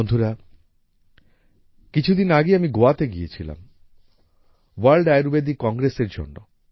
বন্ধুরা কিছুদিন আগেই আমি গোয়াতে ছিলাম ভোর্ল্ড আয়ুর্ভেদিক Congressএর জন্য